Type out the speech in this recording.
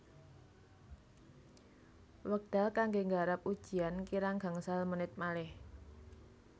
Wekdal kangge nggarap ujian kirang gangsal menit malih